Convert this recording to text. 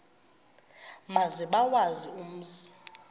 maze bawazi umzi